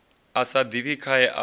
a sa ḓivhi khae a